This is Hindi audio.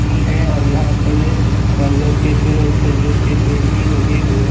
यह अ यहाँ पर बरगद के पेड़ और खजूर के पेड़ भी लगे हुए हैं।